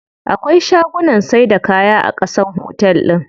Akwai shagunnan saida kaya a ƙasan otel din.